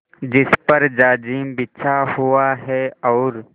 जिस पर जाजिम बिछा हुआ है और